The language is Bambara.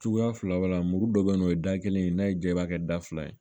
Cogoya fila walima muru dɔ bɛ yen nɔ o ye da kelen n'a y'i ja i b'a kɛ da fila ye